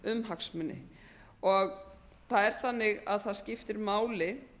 um hagsmuni og það er þannig að það skiptir máli